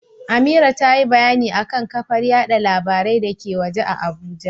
Amira tayi bayani akan kafar yada labarai dake waje a Abuja.